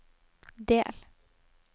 del